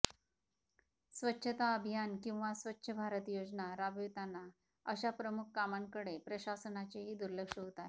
स्वच्छता अभियान किंवा स्वच्छ भारत योजना राबविताना अशा प्रमुख कामांकडे प्रशासनाचेही दुर्लक्ष होत आहे